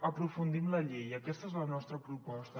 aprofundim la llei aquesta és la nostra proposta